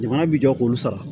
Jamana bi jɔ k'olu sara